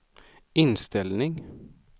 inställning